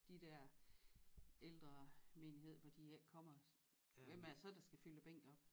De der ældre menighed for de ikke kommer hvem er det så der skal fylde bænke op